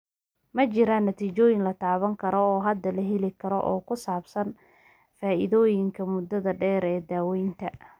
Ma jiraan natiijooyin la taaban karo oo hadda la heli karo oo ku saabsan faa'iidooyinka muddada dheer ee daaweyntan.